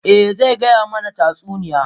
Eh, zai gaya mana tatsuniya.